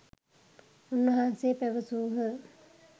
උන්වහන්සේ පැවසූහ.